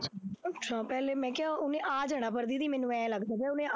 ਅੱਛਾ ਪਹਿਲੇ ਮੈਂ ਕਿਹਾ ਉਹਨੇ ਆ ਜਾਣਾ ਪਰ ਦੀਦੀ ਮੈਨੂੰ ਇਉਂ ਲੱਗਦਾ ਪਿਆ ਉਹਨੇ ਆ